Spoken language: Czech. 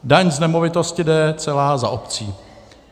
Daň z nemovitosti jde celá za obcí.